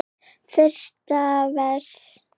Fyrsta vers.